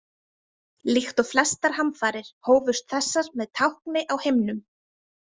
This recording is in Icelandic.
Líkt og flestar hamfarir hófust þessar með tákni á himnum.